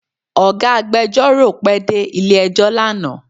Ọ̀gá agbẹjọ́rò pẹ dé ilé ẹjọ́ lánàá